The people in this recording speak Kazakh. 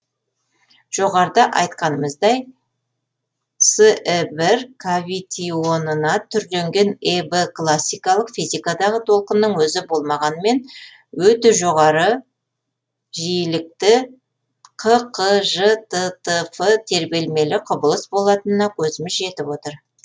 жоғарыда айтқанымыздай сі бір кавитионына түрленген эб классикалық физикадағы толқынның өзі болмағанымен өте жоғарғы жиілікті ққжттф тербелмелі құбылыс болатынына көзіміз жетіп отыр